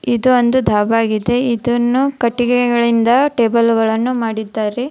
ಇದು ಒಂದು ದಾಬಾ ಆಗಿದೆ ಇದನ್ನು ಕಟ್ಟಿಗೆಗಳಿಂದ ಟೇಬಲ್ ಗಳನ್ನು ಮಾಡಿದ್ದಾರೆ.